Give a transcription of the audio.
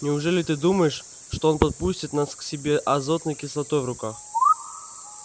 неужели ты думаешь что он подпустит нас к себе азотной кислотой в руках